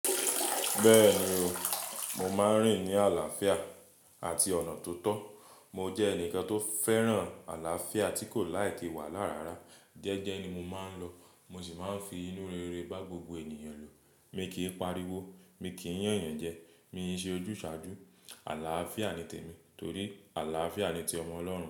Bẹ́ẹ̀ni o, mo máa ń rìn ní àlàáfíà àti ọ̀nà tó tọ́. Mo jẹ́ ẹnìkan tó fẹ́ràn àlàáfíà tí kò laìki wahalá rárá. Jẹ́ẹ́jẹ́ ni mo máa ń lọ, mo sì máa ń fi inú rere bá gbogbo ènìyàn lò. Mi kì í pariwo, mi kì í yàn eèyàn jẹ, mi i ṣe ojúsàájú. Àlàáfíà ni tèmi torí àlàáfíà ni ti ọmọ Ọlọ́run.